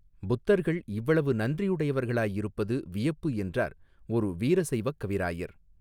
புத்தர்கள் இவ்வளவு நன்றியுடையவர்களாயிருப்பது வியப்பு என்றார் ஒரு வீர சைவக் கவிராயர்.